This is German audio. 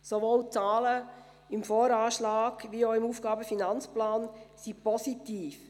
Sowohl die Zahlen im VA als auch jene im AFP sind positiv.